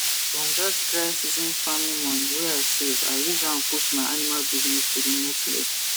from dat dry season farming money wey i save i use am push my animal business to the next level